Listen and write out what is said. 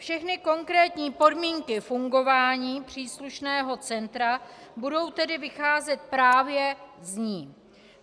Všechny konkrétní podmínky fungování příslušného centra budou tedy vycházet právě z ní.